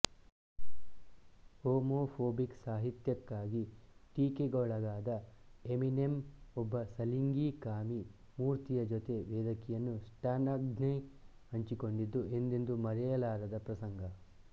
homophobic ಸಾಹಿತ್ಯಕ್ಕಾಗಿ ಟೀಕೆಗೊಳಗಾದ Eminem ಒಬ್ಬ ಸಲ್ಲಿಂಗಿ ಕಾಮಿ ಮೂರ್ತಿಯ ಜೊತೆ ವೇದಿಕೆಯನ್ನು ಸ್ಟಾನ್ಗಾಗಿ ಹಂಚಿಕೊಂಡಿದ್ದು ಎಂದೆಂದೂ ಮರೆಯದ ಪ್ರಸಂಗ